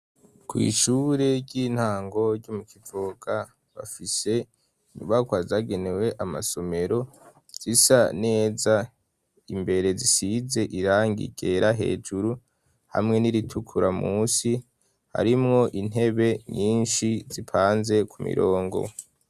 Kw'ishure ry'intango ryu mu kivoga bafise inyubakwa zagenewe amasomero zisa neza imbere zisize irangi ryera hejuru hamwe n'iritukura musi harimwo intebe nyinshi zipanze ku mirongo.